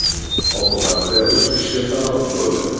Oqibatda uch kishi halok bo‘ldi.